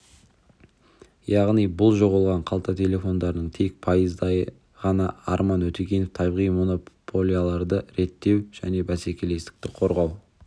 яғни бұл жоғалған қалта телефондарының тек пайыздайы ғана арман өтегенов табиғи монополияларды реттеу және бәсекелестікті қорғау